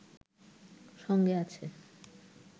সঙ্গে আছে